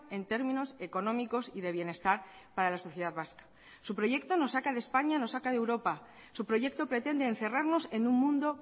en términos económicos y de bienestar para la sociedad vasca su proyecto nos saca de españa nos saca de europa su proyecto pretende encerrarnos en un mundo